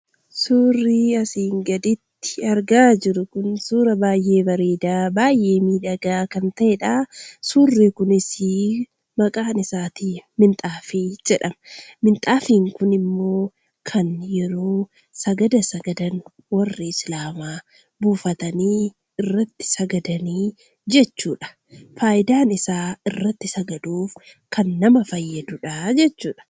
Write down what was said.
Suurri asii gaditti argaa jirru kun suuraa baay'ee bareedaa baay'ee miidhagaa kan ta'eedha. Suurri kunis maqaan isaa 'Minxaafii' jedhama. Minxaafiin kun immoo kan yeroo sagada sagadan warri Islaamaa buufatanii irratti sagadan jechuudha. Faayidaan isaa irratti sagaduuf kan nama fayyaduu dha jechuudha.